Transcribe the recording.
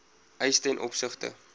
eise ten opsigte